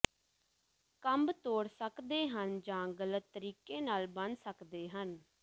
ਕੰਬ ਤੋੜ ਸਕਦੇ ਹਨ ਜਾਂ ਗਲਤ ਤਰੀਕੇ ਨਾਲ ਬਣ ਸਕਦੇ ਹਨ